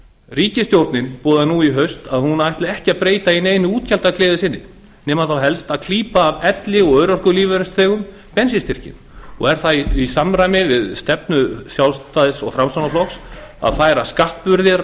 ríkisstjórnin boðaði núna í haust að hún ætli ekki að breyta í neinu útgjaldagleði sinni nema þá helst að klípa af elli og örorkulífeyrisþegum bensínstyrkinn og er það í samræmi við stefnu sjálfstæðis og framsóknarflokks að færa skatt